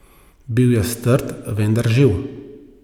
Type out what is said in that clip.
Bil je strt, vendar živ.